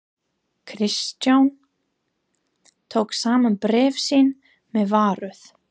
Christian tók saman bréf sín með varúð.